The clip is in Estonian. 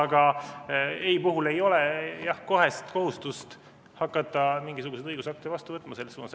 Aga ei puhul ei ole kohest kohustust hakata mingisuguseid õigusakte vastu võtma selles suunas.